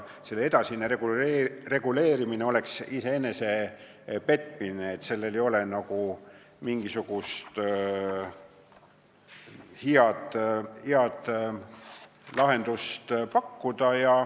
Selle täpsem reguleerimine oleks iseenese petmine, selleks ei ole mingisugust head lahendust pakkuda.